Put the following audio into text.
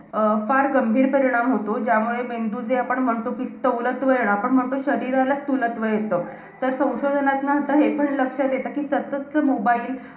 अं फार गंभीर परिणाम होतो. ज्यामुळे मेंदूचे आपण म्हणतो कि सवलत वेळ, आपण म्हणतो शरीराला स्थूलत्व येतं. तर संशोधनात आता हे पण लक्षात येतं, कि सततचं mobile.